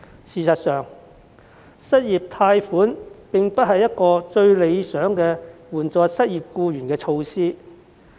事實上，失業貸款並非援助失業僱員的最理想措施。